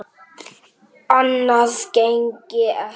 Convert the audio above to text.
Annað gengi ekki.